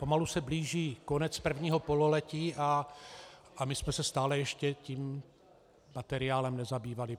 Pomalu se blíží konec prvního pololetí a my jsme se stále ještě tím materiálem nezabývali.